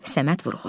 Səməd Vurğun.